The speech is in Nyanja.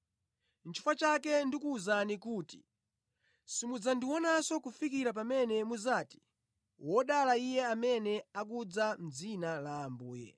Chifukwa chake ndikuwuza kuti simudzandionanso kufikira pamene mudzati, ‘Wodala Iye amene akudza mʼdzina la Ambuye.’ ”